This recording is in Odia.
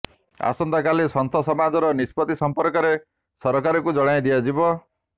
ଆସନ୍ତାକାଲି ସନ୍ଥ ସମାଜର ନିଷ୍ପତ୍ତି ସମ୍ପର୍କରେ ସରକାରଙ୍କୁ ଜଣାଇ ଦିଆଯିବ